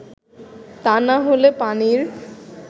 তা না হলে পানির